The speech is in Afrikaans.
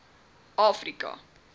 afrika